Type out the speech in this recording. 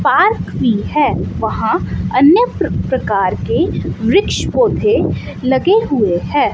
Park भी है वहां अन्य प्रकार के वृक्ष पौधे लगे हुए हैं।